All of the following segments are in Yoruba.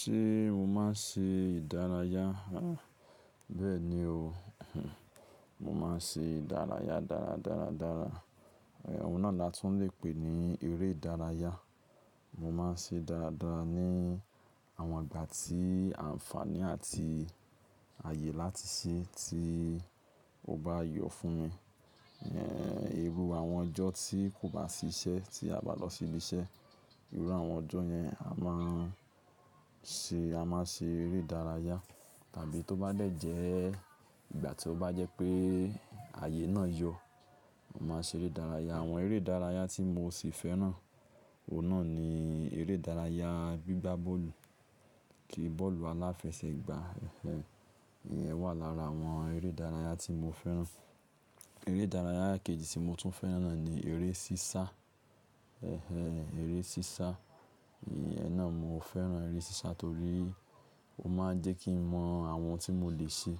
Ṣé mo máa ń ṣe ìdárayá? Béẹ̀ni o, mo máa ń ṣe ìdárayá dára dára dára. Òun náà la tún lè pè ní eré ìdárayá. Mo máa ń ṣe dára dára ní àwọn ìgbà tí àǹfààní àti ààyè láti ṣe tí ó bá yọ fún mi. Irù àwọn ọjọ́ tí kò bá sí iṣẹ́, tí a o bá lọ sí ilé iṣẹ́, irú àwọn ọjọ́ yẹn a máa ń ṣe, a máa ṣe eré ìdárayá. Tàbí tó bá dẹ̀ jẹ́ ìgbà tí ó bá jẹ́ pé ààyè náà yọ, a máa ṣe eré ìdárayá. Àwọn eré ìdárayá tí mo sì fẹ́ràn, òun náà ni eré ìdárayá gbígbá bọ́ọ̀lù kí bọ́ọ̀lù aláfẹsẹ̀gbá, ẹ̀ ìyẹn wà lára àwọn eré ìdárayá tí mo fẹ́ràn. Eré ìdárayá kejì tí mo tún fẹ́ràn náà ni eré sísá. Ẹ̀hẹ́n, eré sísá. Ẹ̀hin naà mo fẹ́ràn eré sísá torí ó máa ń jẹ́ kí n mọ àwọn ohun tí mo lè ṣe,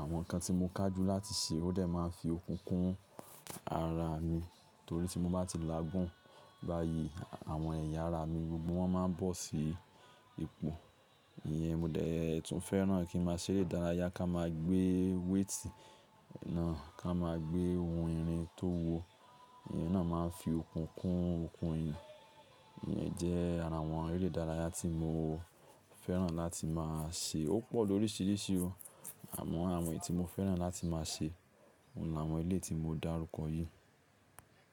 àwọn nǹkan tí mo kájú láti ṣe ó dè máa ń fi okùn kún ara mi torí tí mo bá ti láagún báyìí, àwọn ẹ̀yà ara mi gbogbo wọ́n máa bọ́ sí ipò. Ìyẹn mo dẹ̀ tún fẹ́ràn kí n máa ṣe eré ìdárayá ká máa gbé wéètì náà, ká máa gbé ohun ìrìn tó wo. Ìyẹn náà máa ń fi okùn kún okùn eeyan. Ìyẹn jẹ́ ara àwọn eré ìdárayá tí mo fẹ́ràn láti máa ṣe. Ó pọ̀ lóríṣiríṣi o, àmọ́ àwọn èyí tí mo fẹ́ràn láti máa ṣe, òun làwọn eleyi tí mo dárúkọ yìí.